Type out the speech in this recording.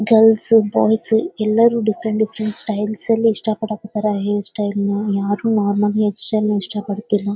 Girls boys ಎಲ್ಲರು different different style ಅಲ್ಲಿ ಇಷ್ಟ ಪಡ್ಡಕತ್ತರ ಹೇರ್ ಸ್ಟೈಲ್ ನ ಯಾರು ನಾರ್ಮಲ್ ಹೇರ್ ಸ್ಟೈಲ್ ನ ಇಷ್ಟ ಪಡ್ತಿಲ್ಲ.